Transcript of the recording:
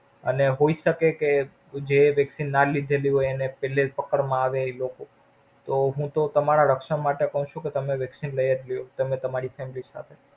અને હોય શકે કે જે Vaccine ના લીધેલી હોય એને પેલે થી પકડ માં આવે ઈ લોકો તો હું તો તમારા રક્ષણ માટે કવ છું કે તમે Vaccine લય જ લ્યો તમે તમારી Family સાથે.